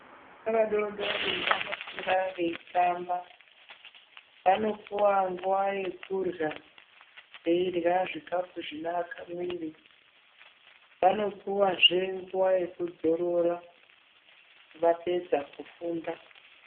Ana adodori vanofunda veitamba. Vanopuwa nguwa yekurya, eirya zvikafu zvinoaka mwiri. Vanopuwazve nguwa yekudzorora vapedza kufunda.